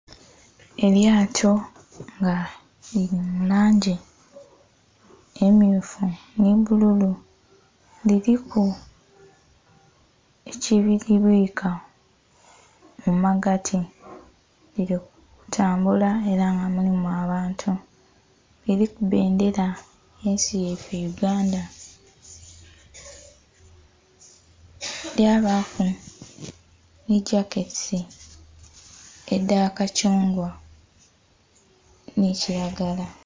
Elyato nga lili mu langi emyufu nhi bbululu, liliku ekilibwika mu magati lili kutambula era nga mulimu abantu, liliku bbendhera yensi yaifee Uganda lyabaku nhi jaketi edha kacungwa nhi kilagala.